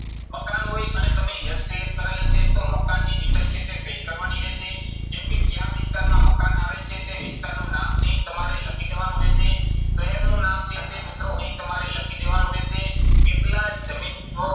મકાન હોય અને તમે એક select કરેલ હશે તો મકાનની detail છે તે fill કરવાની રહેશે. જેમ કે ક્યા વિસ્તારમાં મકાન આવેલ છે તે વિસ્તારનું નામ અહીં તમારે લખી દેવાનું રહેશે. શહેરનું નામ છે તે મિત્રો અહીં તમારે લખી દેવાનું રહેશે. કેટલા જમીનનો